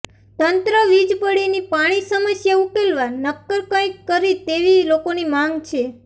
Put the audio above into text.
તંત્ર વીજપડીની પાણી સમસ્યા ઉકેલવા નક્કર કંઈક કરી તેવી લોકોની માંગ છે